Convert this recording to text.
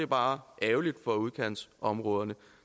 bare er ærgerligt for udkantsområderne